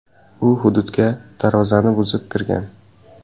U hududga darvozani buzib kirgan.